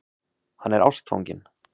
Hann er ástfanginn.